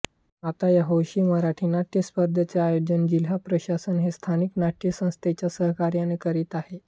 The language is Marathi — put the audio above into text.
आता या हौशी मराठी नाट्यस्पर्धांचे आयोजन जिल्हा प्रशासन हे स्थानिक नाट्यसंस्थेच्या सहकार्याने करीत आहे